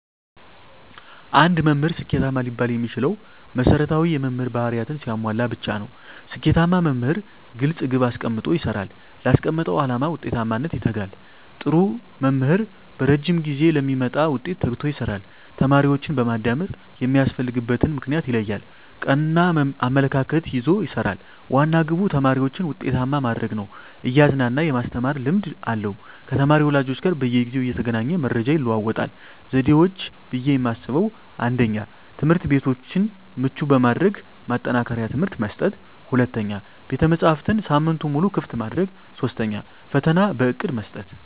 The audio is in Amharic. አንድ መምህር ስኬታማ ሊባል የሚችለው መሰረታዊ የመምህር ባህርያትን ሲያሟላ ብቻ ነው። ስኬታማ መምህር ግልፅ ግብ አስቀምጦ ይሰራል: ላስቀመጠው አላማ ውጤታማነት ይተጋል, ጥሩ መምህር በረዥም ጊዜ ለሚመጣ ውጤት ተግቶ ይሰራል። ተማሪዎችን በማዳመጥ የሚያስፈልግበትን ምክንያት ይለያል ,ቀና አመለካከት ይዞ ይሰራል, ዋና ግቡ ተማሪዎችን ውጤታማ ማድረግ ነው እያዝናና የማስተማር ልምድ አለው ከተማሪ ወላጆች ጋር በየጊዜው እየተገናኘ መረጃ ይለዋወጣል። ዘዴዎች ብዬ የማስበው 1ኛ, ትምህርትቤቶችን ምቹ በማድረግ ማጠናከሪያ ትምህርት መስጠት 2ኛ, ቤተመፅሀፍትን ሳምንቱን ሙሉ ክፍት ማድረግ 3ኛ, ፈተና በእቅድ መስጠት።